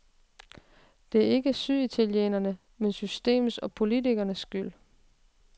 Det er ikke syd-italienernes, men systemets og politikernes skyld.